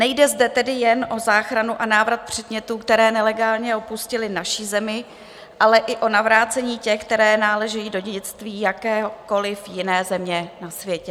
Nejde zde tedy jen o záchranu a návrat předmětů, které nelegálně opustily naši zemi, ale i o navrácení těch, které náležejí do dědictví jakékoliv jiné země na světě.